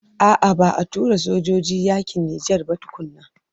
A'a ba a tura sojoji yakin Nijar ba tukuna.